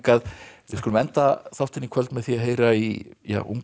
við skulum enda þáttinn í kvöld með því að heyra í ungu